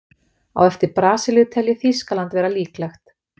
Á eftir Brasilíu tel ég Þýskaland vera líklegt.